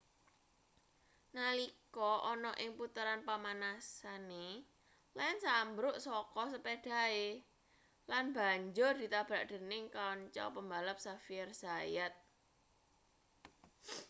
nalika ana ing puteran pamanasane lenz ambruk saka sepedhahe lan banjur ditabrak dening kanca pembalap xavier zayat